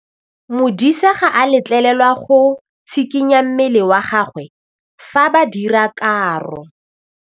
Modise ga a letlelelwa go tshikinya mmele wa gagwe fa ba dira karô.